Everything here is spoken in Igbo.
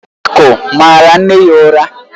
Aku maara nne ya ụra.